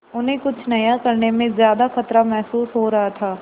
उन्हें कुछ नया करने में ज्यादा खतरा महसूस हो रहा था